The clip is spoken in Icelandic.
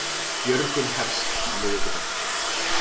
Björgun hefst á miðvikudag